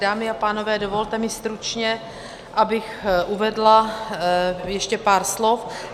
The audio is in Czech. Dámy a pánové, dovolte mi stručně, abych uvedla ještě pár slov.